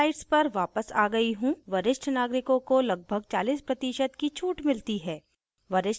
मैं slides पर वापस आ गयी हूँ वरिष्ठ नागरिकों को लगभग 40% की छूट मिलती है